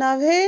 नव्हे